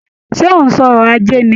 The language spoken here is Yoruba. Ṣé ó ń sọrọ̀ ajé ni?